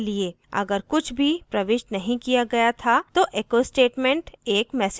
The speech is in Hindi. अगर कुछ भी print नहीं किया गया था तो echo statement एक message print करेगा